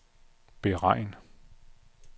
beregn